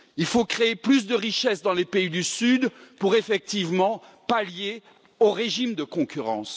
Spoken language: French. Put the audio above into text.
Il faut créer plus de richesse dans les pays du Sud pour effectivement pallier le régime de concurrence.